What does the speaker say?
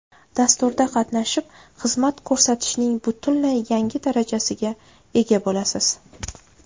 Dasturda qatnashib, xizmat ko‘rsatishning butunlay yangi darajasiga ega bo‘lasiz.